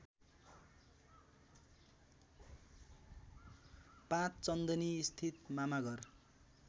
५ चन्दनीस्थित मामाघर